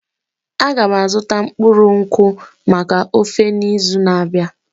Aga m azụta mkpụrụ nkwụ maka ofe n'izu na-abịa.